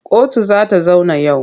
Kotu za ta zauna yau.